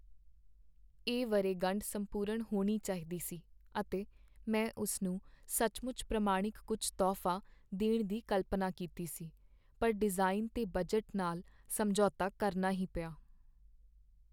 ਇਹ ਵਰ੍ਹੇਗੰਢ ਸੰਪੂਰਣ ਹੋਣੀ ਚਾਹੀਦੀ ਸੀ, ਅਤੇ ਮੈਂ ਉਸ ਨੂੰ ਸੱਚਮੁੱਚ ਪ੍ਰਮਾਣਿਕ ਕੁੱਝ ਤੋਹਫ਼ਾ ਦੇਣ ਦੀ ਕਲਪਨਾ ਕੀਤੀ ਸੀ। ਪਰ ਡਿਜ਼ਾਈਨ 'ਤੇ ਬਜਟ ਨਾਲ ਸਮਝੌਤਾ ਕਰਨਾ ਹੀ ਪਿਆ।